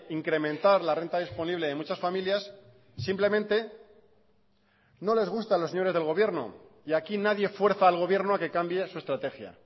incrementar la renta disponible de muchas familias simplemente no les gusta a los señores del gobierno y aquí nadie fuerza al gobierno a que cambie su estrategia